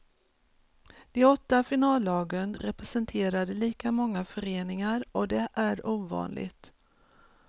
De åtta finallagen representerade lika många föreningar och det är ovanligt.